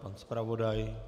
Pan zpravodaj?